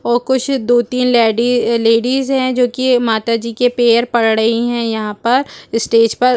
और कुछ दो-तीन लेडी लेडीज हैं जो कि माता जी के पेयर पड़ रही हैं यहां पर स्टेज पर।